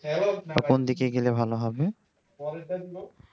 কোনদিকে গেলে ভালো হবে